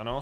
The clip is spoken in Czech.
Ano.